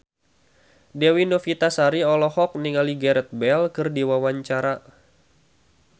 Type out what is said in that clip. Dewi Novitasari olohok ningali Gareth Bale keur diwawancara